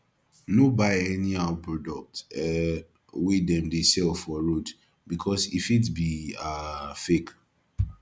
no buy anyhow product um wey dem dey sell for road because e fit be um fake